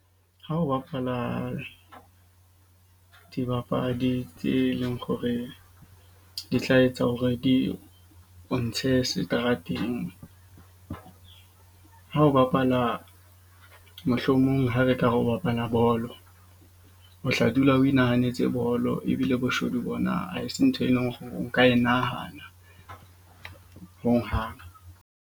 Ha o bapala dibapadi tse leng gore di tla etsa hore di o ntshe seterateng. Ha o bapala, mohlomong ha re ka re o bapala bolo, o tla dula o inahanetse bolo. Ebile boshodu bona ha e se ntho, e leng gore o ka e nahana hohang.